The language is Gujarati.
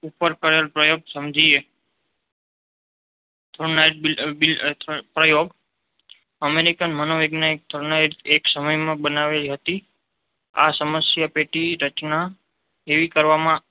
ઉપર કરેલ પ્રયોગ સમજી એ થોર્નડાઈક પ્રયોગ અમેરિકન મનોવૈજ્ઞાનિકે થોર્નડાઈક એક સમય માં બનાવેલી હતી. આ સંશય પૈકી રચના એવી કરવામાં આવી